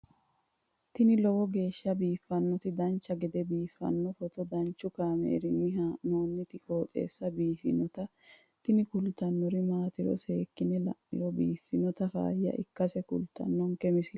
tini lowo geeshsha biiffannoti dancha gede biiffanno footo danchu kaameerinni haa'noonniti qooxeessa biiffannoti tini kultannori maatiro seekkine la'niro biiffannota faayya ikkase kultannoke misileeti yaate